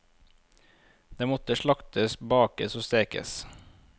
Det måtte slaktes, bakes og stekes.